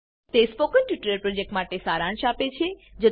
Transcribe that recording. તે spoken tutorial પ્રોજેક્ટનો સારાંશ આપે છે